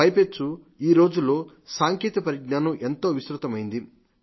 పైపెచ్చు ఈ రోజుల్లో సాంకేతిక పరిజ్ఞానం ఎంతో విస్తృతమైంది